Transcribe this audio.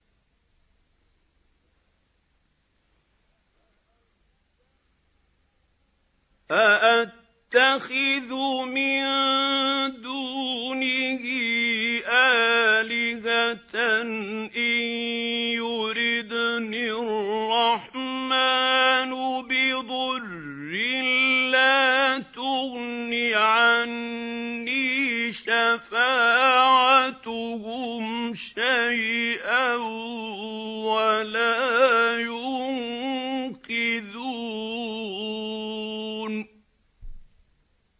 أَأَتَّخِذُ مِن دُونِهِ آلِهَةً إِن يُرِدْنِ الرَّحْمَٰنُ بِضُرٍّ لَّا تُغْنِ عَنِّي شَفَاعَتُهُمْ شَيْئًا وَلَا يُنقِذُونِ